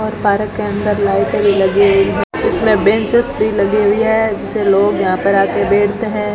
और पार्क के अंदर लाइटें भी लगी हुई हैं इसमें बेंचेस भी लगी हुई है जिसे लोग यहां पर आके बैठते हैं।